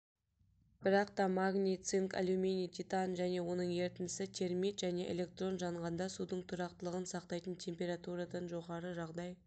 бірақта магний цинк алюминий титан және оның ерітіндісі термит және электрон жанғанда судың тұрақтылығын сақтайтын температурадан жоғары жағдай